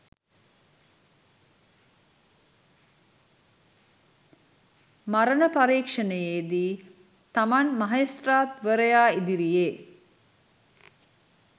මරණ පරීක්ෂණයේදී තමන් මහේස්ත්‍රාත්වරයා ඉදිරියේ